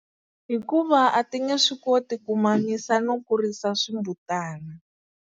Hikuva a ti nge swi koti ku mamisa no kurisa swimbutana.